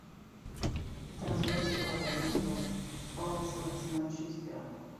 трансляция апл кристал пэласа с манчестером